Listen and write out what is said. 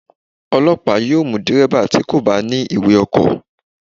Ọlọ́pàá yóò mú Dẹ̀rẹ́bà tí kò bá ní ìwé ọkọ̀.